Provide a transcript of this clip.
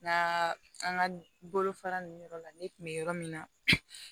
N ka an ka bolofara ninnu yɔrɔ la ne kun bɛ yɔrɔ min na